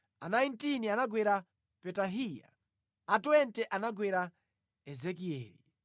a 19 anagwera Petahiya, a 20 anagwera Ezekieli,